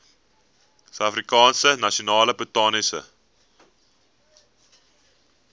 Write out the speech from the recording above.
suidafrikaanse nasionale botaniese